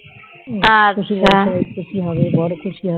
শশুরমশায় খুশি হবে বর খুশি হবে,